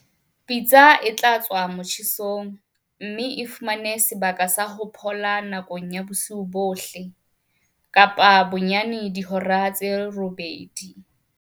Jwale pitsa e tloswa motjhesong, mme e fumana sebaka sa ho phola nakong ya bosiu bohle. Kapa bonyane dihora tse robedi.